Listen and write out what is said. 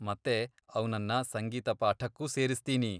ಮತ್ತೆ ಅವ್ನನ್ನ ಸಂಗೀತ ಪಾಠಕ್ಕೂ ಸೇರಿಸ್ತೀನಿ.